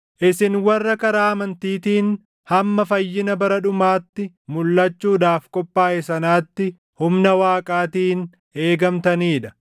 isin warra karaa amantiitiin hamma fayyina bara dhumaatti mulʼachuudhaaf qophaaʼe sanaatti humna Waaqaatiin eegamtanii dha.